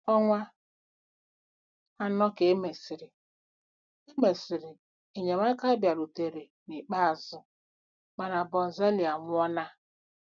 Ọnwa anọ ka e mesịrị, e mesịrị, enyemaka bịarutere n'ikpeazụ, mana Bonzali anwụọla.